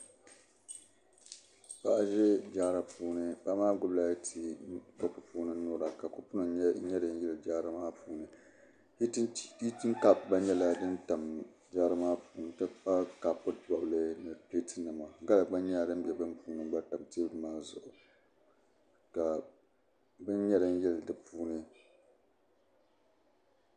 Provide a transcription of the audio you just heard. Paɣa n ʒɛ jaara puuni paɣa maa gbubila tii kopu puuni nyura ka kopu nim nyɛ din yili jaara maa puuni hiitin kaap gba nyɛla din bɛ jaara maa puuni n ti pahi kaapu piɛlli ni pileet nima gala gba nyɛla din bɛ bini puuni n gba tam teebuli maa zuɣu ka bin nyɛ din yili di puuni